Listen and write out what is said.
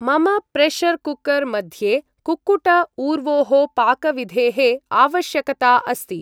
मम pressure cooker मध्ये कुक्कुट-ऊर्वोः पाकविधेः आवश्यकता अस्ति।